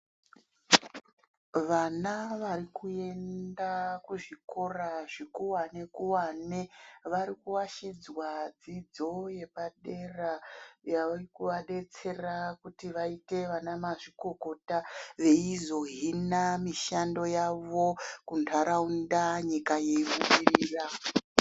Vana vari kuenda kuzvikora zvikuwane kuwane vari kuashidzwa dzidzo yepadera yave kuaadetsera kuti vaite vana mazvikokota veizohina mushando yawo kuntaraunda nyika yeibudirira.